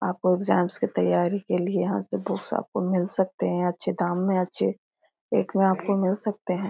आपको एग्जामस की तैयारी के लिए यहाँ से बुक्स आपको मिल सकते हैं अच्छे दाम में अच्छे रेट में आपको मिल सकते हैं।